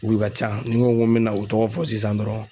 U ka ca .Ni n ko n be na u tɔgɔ fɔ sisan dɔrɔn